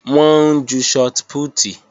Wọ́n ń ju shọt pútì